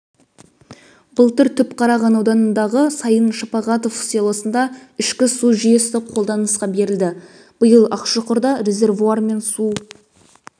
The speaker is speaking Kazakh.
былтыр түпқараған ауданындағы сайын шапағатов селосында ішкі су жүйесі қолданысқа берілді биыл ақшұқырда резервуар мен су